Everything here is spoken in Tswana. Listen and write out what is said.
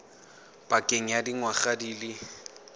pakeng ya dingwaga di le